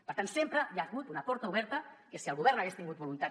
per tant sempre hi ha hagut una porta oberta que si el govern hagués tingut voluntat